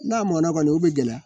N'a mɔnna kɔni o bɛ gɛlɛya